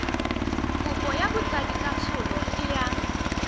kopo ya botsadikatsholo e yang